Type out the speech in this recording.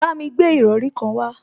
Bámi gbé ìrọrí kan wá